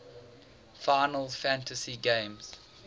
final fantasy games